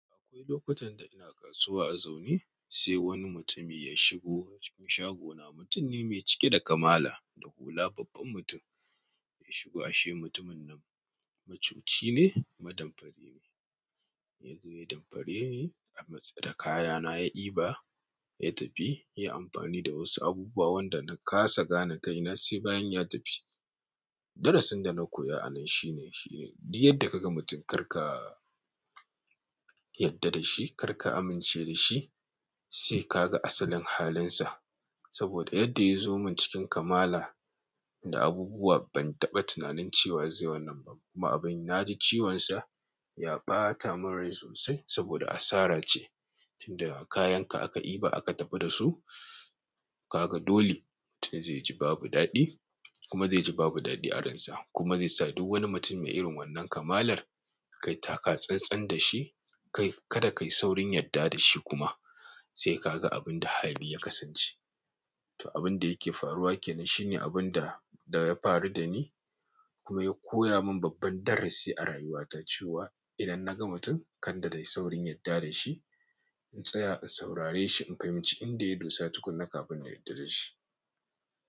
Akwai lokutan da ina kasuwa a zaune, sai wani mutumi ya shigo cikin shagona. Mutum ne mai cike da kamala da hula, babban mutum. Ya shigo, ashe mutumin nan macuci ne, ma damfari ne. Ya zo ya damfare ni da kayana, ya ɗiba, ya tafi. Ya yi amfani da wasu abubuwa wanda na kasa gane kai na sai bayan ya tafi. Darasin da na koya a nan shine, shi ne duk yadda ka ga mutum, kar ka yadda da shi, kar ka amince da shi sai ka ga asalin halinsa. Saboda yadda ya zo min cikin kamala da abubuwa, ban taɓa tunanin cewa zai wannan ba. Kuma abin na ji ciwonsa ya ɓata min rai sosai saboda asara ce. Tin da kayanka aka iba, aka tafi da su, ka ga dole mutum zai ji babu daɗi kuma zai ji babu daɗi a ransa kuma zai sa duk wani mutum mai irin wannan kamalar kai taka tsantsan da shi. Kai kada ka yi saurin yadda da shi kuma sai ka ga abin da hali ya kasance. Toh abinda yake faruwa kenan, shine abinda ya faru dani, kuma ya koya min babban darasi a rayuwata. Cewa idan naga mutum kada nayi saurin yadda dashi, in tsaya in saurare shi in fahimci inda ya dosa tukunna, kafin na yarda dashi.